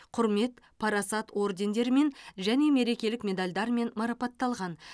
құрмет парасат ордендерімен және мерекелік медальдармен марапатталған